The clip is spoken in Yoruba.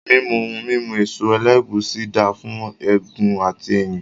Mímu ohun mímu èso ẹlẹ́gùúsí dáà fún egun àti ẹ̀yìn